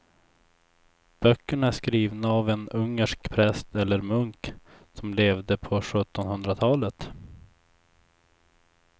Böckerna är skrivna av en ungersk präst eller munk som levde på sjuttonhundratalet.